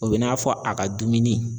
O bɛ n'a fɔ a ka dumuni.